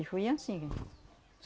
E foi anssim.